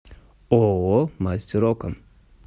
ооо мастер окон